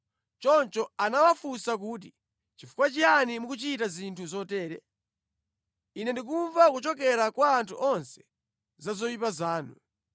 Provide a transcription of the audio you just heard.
Choncho anawafunsa kuti, “Nʼchifukwa chiyani mukuchita zinthu zotere? Ine ndikumva kuchokera kwa anthu onse za zoyipa zanuzo.